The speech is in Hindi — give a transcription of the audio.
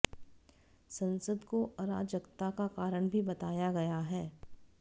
संसद को अराजकता का कारण भी बताया गया है